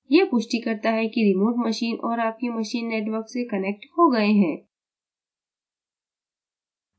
यह पुष्टि करता है कि remote machine और आपकी machine network से connected हो गए हैं